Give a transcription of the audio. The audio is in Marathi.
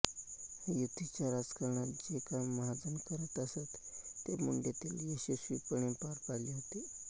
युतीच्या राजकारणात जे काम महाजन करतअसत ते मुंडेंनी यशस्वीपणे पार पाडले होते